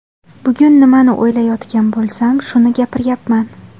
Bugun nimani o‘ylayotgan bo‘lsam, shuni gapiryapman.